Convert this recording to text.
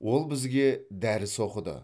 ол бізге дәріс оқыды